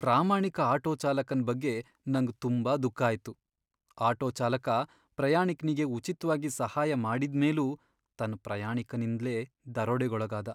ಪ್ರಾಮಾಣಿಕ ಆಟೋ ಚಾಲಕನ್ ಬಗ್ಗೆ ನಂಗ್ ತುಂಬಾ ದುಃಖ ಆಯ್ತು. ಆಟೋ ಚಾಲಕ ಪ್ರಾಯಾಣಿಕ್ನಿಗೆ ಉಚಿತ್ವಾಗಿ ಸಹಾಯ ಮಾಡಿದ್ ಮೇಲೂ ತನ್ ಪ್ರಯಾಣಿಕನಿಂದ್ಲೇ ದರೋಡೆಗೊಳಗಾದ